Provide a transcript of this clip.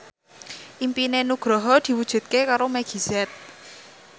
impine Nugroho diwujudke karo Meggie Z